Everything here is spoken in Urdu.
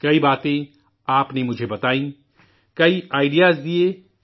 کئی باتیں آپ نے مجھے بتائی، کئی آئیڈیاز دیے،